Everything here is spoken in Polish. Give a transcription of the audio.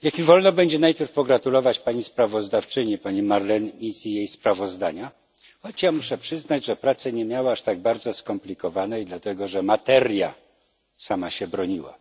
Niech mi będzie wolno najpierw pogratulować pani sprawozdawczyni, pani Marlene Mizzi jej sprawozdania, choć muszę przyznać, że pracy nie miała aż tak bardzo skomplikowanej, dlatego że materia sama się broniła.